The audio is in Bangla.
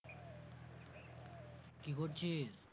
কি করছিস?